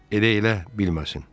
Elə elə bilməsin.